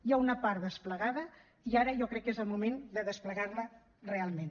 hi ha una part desplegada i ara jo crec que és el moment de desplegar la realment